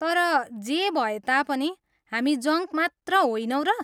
तर जे भए तापनि हामी जङ्क मात्र होइनौँ र?